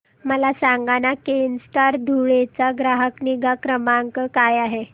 मला सांगाना केनस्टार धुळे चा ग्राहक निगा क्रमांक काय आहे